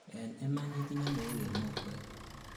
en iman itinyei mook en mokwek